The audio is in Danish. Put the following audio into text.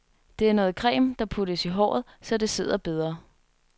Det er noget creme, der puttes i håret, så det sidder bedre.